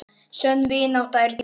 Sönn vinátta er dýrmæt.